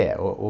É, o o...